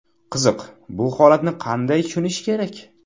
Qiziq, bu holatni qanday tushunish kerak?